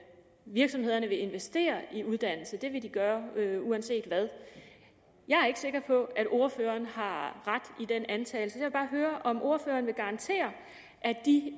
virksomhederne vil investere i uddannelse og at det vil de gøre uanset hvad jeg er ikke sikker på at ordføreren har ret i den antagelse vil bare høre om ordføreren vil garantere